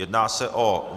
Jedná se o